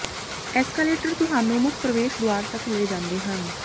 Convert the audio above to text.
escalator ਤੁਹਾਨੂੰ ਮੁੱਖ ਪ੍ਰਵੇਸ਼ ਦੁਆਰ ਤੱਕ ਲੈ ਜਾਂਦੇ ਹਨ